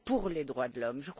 des droits de l'homme.